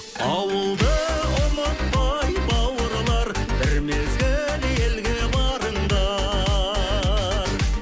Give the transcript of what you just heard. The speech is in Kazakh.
ауылды ұмытпай бауырлар бір мезгіл елге барыңдар